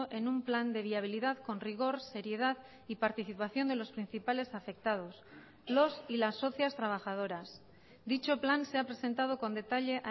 en un plan de viabilidad con rigor seriedad y participación de los principales afectados los y las socias trabajadoras dicho plan se ha presentado con detalle